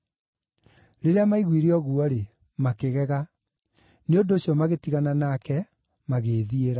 Rĩrĩa maiguire ũguo-rĩ, makĩgega. Nĩ ũndũ ũcio magĩtigana nake, magĩĩthiĩra.